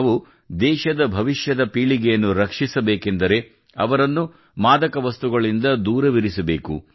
ನಾವು ದೇಶದ ಭವಿಷ್ಯದ ಪೀಳಿಗೆಯನ್ನು ರಕ್ಷಿಸಬೇಕೆಂದರೆ ಅವರನ್ನು ಮಾದಕ ವಸ್ತುಗಳಿಂದ ದೂರವಿರಿಸಬೇಕು